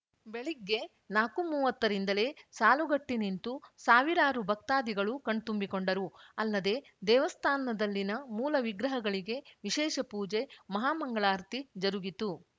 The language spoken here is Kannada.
ಬೆಳಗ್ಗೆ ನಾಕುಮೂವತ್ತ ರಿಂದಲೇ ಸಾಲುಗಟ್ಟಿನಿಂತು ಸಾವಿರಾರು ಭಕ್ತಾದಿಗಳು ಕಣ್ತುಂಬಿಕೊಂಡರು ಅಲ್ಲದೆ ದೇವಸ್ಥಾನದಲ್ಲಿನ ಮೂಲ ವಿಗ್ರಹಗಳಿಗೆ ವಿಶೇಷ ಪೂಜೆ ಮಹಾಮಂಗಳಾರತಿ ಜರುಗಿತು